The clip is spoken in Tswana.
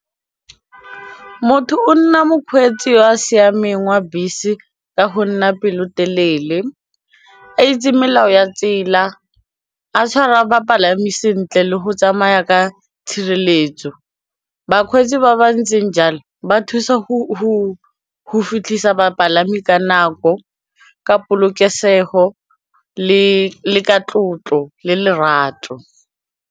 Motho o nna mokgweetsi wa siameng wa bese ka go nna pelotelele a itse melao ya tsela, a tshwara bapalami sentle le go tsamaya ka tshireletso, bakgweetsi ba ba ntseng jalo ba thusa go fitlhisa bapalami ka nako, ka polokesego le ka tlotlo le lerato.